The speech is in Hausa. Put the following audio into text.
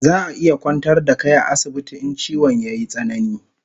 Zaa iya kwantar da kai a asibiti in chiwon yayi tsanani